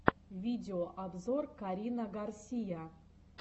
видеообзор карина гарсия